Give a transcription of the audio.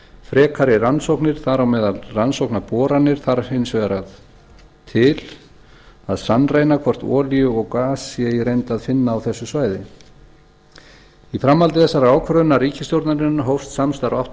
frekari rannsóknir þar á meðal rannsóknarboranir þarf hins vegar til að sannreyna hvort olíu eða gas sé í reynd að finna á þessu svæði í framhaldi þessarar ákvörðunar ríkisstjórnarinnar hófst samstarf átta